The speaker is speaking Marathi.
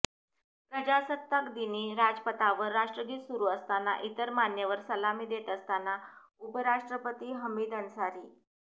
प्रजासत्ताकदिनी राजपथावर राष्ट्रगीत सुरू असताना इतर मान्यवर सलामी देत असताना उपराष्ट्रपती हमीद अन्सारी